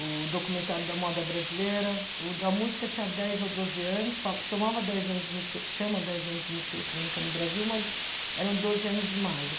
o documentário da moda brasileira, o da música tinha dez ou doze anos, fa chamava dez anos de música, chama dez anos de música eletrônica no Brasil, mas eram doze anos de imagem.